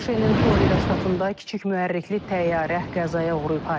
ABŞ-ın Florida ştatında kiçik mühərrikli təyyarə qəzaya uğrayıb.